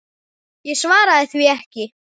Ég svaraði því ekki.